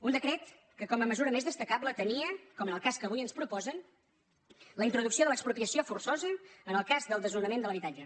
un decret que com a mesura més destacable tenia com en el cas que avui ens proposen la introducció de l’expropiació forçosa en el cas del desnonament de l’habitatge